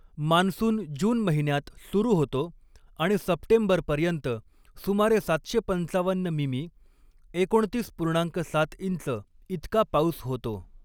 Monsoon June महिन्यात सुरु होतो आणि सप्टेंबरपर्यंत सुमारे सातशे पंचावन्न मिमी एकोणतीस पूर्णांक सात इंच इतका पाऊस होतो.